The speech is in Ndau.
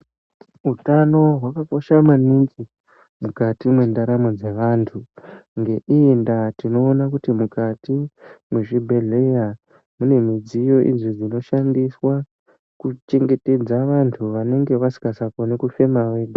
Utano hwakakosha maningi mukati mendaramo dzevantu ,ngeiyi ndaa tinoona kuti mukati mezvibhehlera mune midziyo inoshandiswa kuchengetedza antu anenge akusakwanisa kufema eha.